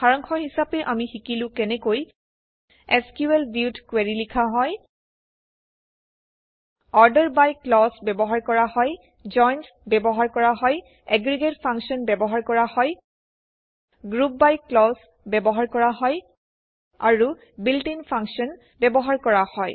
সাৰাংশ হিচাপে আমি শিকিলো কেনেকৈ এচকিউএল ভিউত কুৱেৰি লিখা হয় অৰ্ডাৰ বাই ক্লজ ব্যৱহাৰ কৰা হয় জইন্স ব্যৱহাৰ কৰা হয় এগ্ৰিগেট ফাংশ্যন ব্যৱহাৰ কৰা হয় গ্ৰুপ বাই ক্লজ ব্যৱহাৰ কৰা হয় আৰু বিল্ট ইন ফাংশ্যন ব্যৱহাৰ কৰা হয়